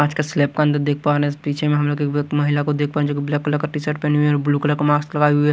आज का स्लैब का अंदर देख पा रहे हैं पीछे में हम लोग एक महिला को देख पा रहे हैं जो कि ब्लैक कलर का टीशर्ट पहनी हुई है और ब्लू कलर का मास्क लगाए हुए है।